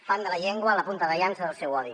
fan de la llengua la punta de llança del seu odi